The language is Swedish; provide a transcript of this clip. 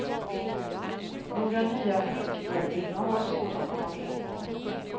Några nya flickhjältinnor har de svårt att komma på.